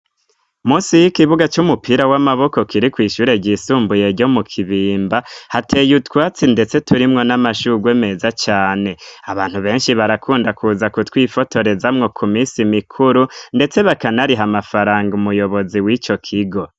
Munsi y'ikibuga cy'umupira w'amaboko kiri ku ishure ryisumbuye yo mu kibimba hateye utwatsi ndetse turimwo n'amashugwe meza cane, abantu benshi barakunda kuza kutwifotorezamwo ku misi mikuru ndetse bakanariha amafaranga umuyobozi w'ico kigo.